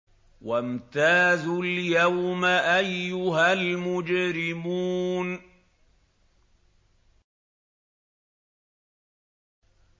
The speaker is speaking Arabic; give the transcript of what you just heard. وَامْتَازُوا الْيَوْمَ أَيُّهَا الْمُجْرِمُونَ